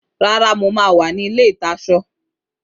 Rárá, mo máa wà ní ilé-ìtasọ